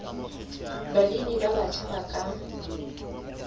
balemi ba batjha ba ka